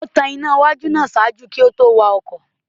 O tan ìnà iwájú náà ṣaaju kí o to wakọ